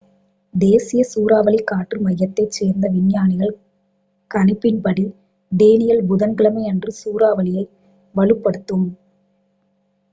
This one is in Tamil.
தேசிய சூறாவளிக் காற்று மையத்தைச் சேர்ந்த விஞ்ஞானிகள் கணிப்பின்படி டேனியெல் புதன்கிழமையன்று சூறாவளியை வலுப்படுத்தும்